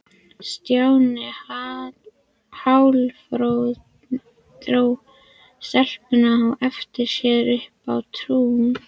Stjáni hálfdró stelpurnar á eftir sér upp á tún.